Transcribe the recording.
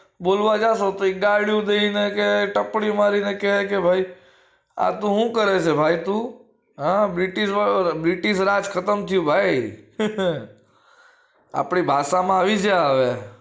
બોલવા જાસો તો ડાડિયું દઈ ને કે ટપલી મારી ને કે ભાઈ આ તું હું કરે સે ભાઈ તું હ british british રાજ ખતમ થયું ભાઈ આપડી ભાષા માં આવી જા હવે